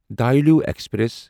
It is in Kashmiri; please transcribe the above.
دھولی ایکسپریس